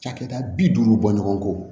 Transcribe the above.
Cakɛda bi duuru bɔ ɲɔgɔn kɔ